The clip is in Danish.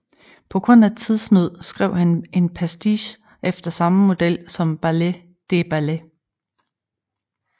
På grund af tidsnød skrev han en pastiche efter samme model som Ballet des Ballets